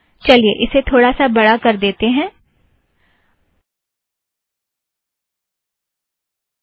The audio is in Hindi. चलिए इसे थोड़ासा बड़ा कर देती हूँ